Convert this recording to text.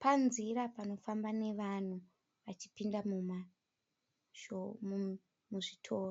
panzira panofamba nevanhu vachipinda muzvitoro